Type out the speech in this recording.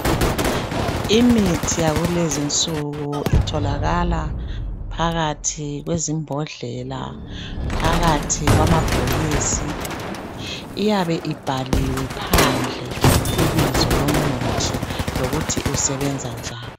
Imithi yakulezinsuku itholakala phakathi kwezimbhodlela, phakathi kwamabhokisi. Iyabe ibhaliwe phandle ibizo lomuthi lokuthi usebenza njani